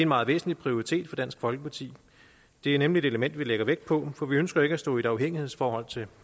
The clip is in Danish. meget væsentlig prioritet for dansk folkeparti det er nemlig et element vi lægger vægt på for vi ønsker ikke at stå i et afhængighedsforhold til